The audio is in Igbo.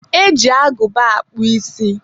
E ji agụba akpụ isi.